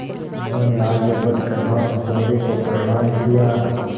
उन्होंने आगे बढ़ कर भानुकुँवरि को प्रणाम किया